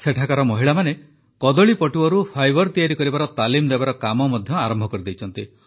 ସେଠାକାର ମହିଳାମାନେ କଦଳୀପଟୁଆରୁ ଫାଇବର ତିଆରି କରିବାର ତାଲିମ ଦେବାର କାମ ଆରମ୍ଭ କରିଛନ୍ତି